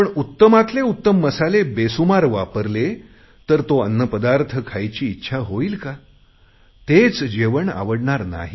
पण उत्तमातले उत्तम मसाले बेसुमार वापरले तर तो अन्नपदार्थ खायची इच्छा होईल का तेच जेवण आवडणार नाही